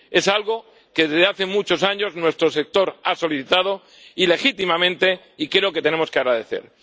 Es algo que desde hace muchos años nuestro sector ha solicitado —y legítimamente— y creo que tenemos que agradecer.